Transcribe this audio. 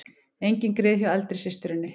Engin grið hjá eldri systurinni